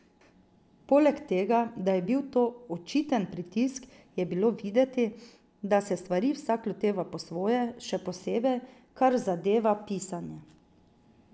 Poleg tega, da je bil to očiten pritisk, je bilo videti, da se stvari vsak loteva po svoje, še posebej, kar zadeva pisanje.